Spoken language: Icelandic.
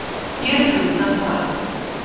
hér er unnt að fara